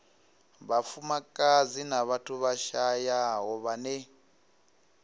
vhafumakadzi na vhathu vhashayaho vhane